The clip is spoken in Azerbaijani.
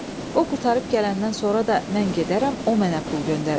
O qurtarıb gələndən sonra da mən gedərəm, o mənə pul göndərər.